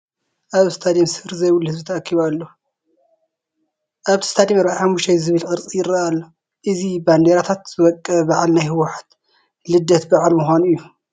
ኣብ ስቴድየም ስፍሪ ዘይብሉ ህዝቢ ተኣኪቡ ኣሎ፡፡ ኣብቲ ስቴድየም 45 ዝብል ቅርፂ ይርአ ኣሎ፡፡ እዚ ብባንዲራታት ዝወቀበ በዓል ናይ ሕወሓት ልደት በዓል ምዃኑ እዩ፡፡